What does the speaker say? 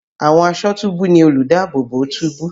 Àwọn aṣọ́túbú ni olùdáàbòbò túbú.